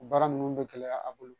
O baara ninnu bɛ gɛlɛya a bolo